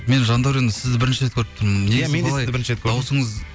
мен жандәурен сізді бірінші рет көріп тұрмын